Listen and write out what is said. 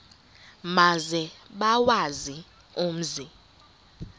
maze bawazi umzi